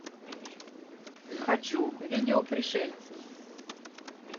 хочу видео пришельцы